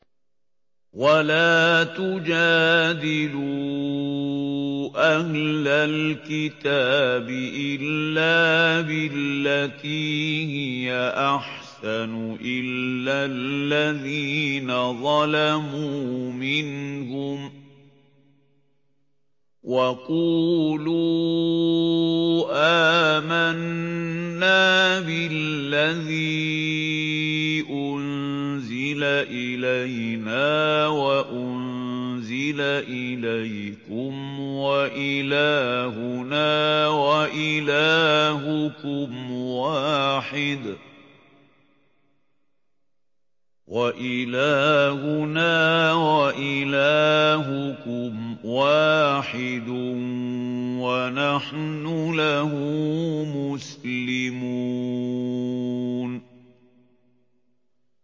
۞ وَلَا تُجَادِلُوا أَهْلَ الْكِتَابِ إِلَّا بِالَّتِي هِيَ أَحْسَنُ إِلَّا الَّذِينَ ظَلَمُوا مِنْهُمْ ۖ وَقُولُوا آمَنَّا بِالَّذِي أُنزِلَ إِلَيْنَا وَأُنزِلَ إِلَيْكُمْ وَإِلَٰهُنَا وَإِلَٰهُكُمْ وَاحِدٌ وَنَحْنُ لَهُ مُسْلِمُونَ